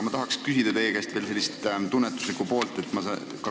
Ma tahan küsida sellise tunnetusliku poole kohta.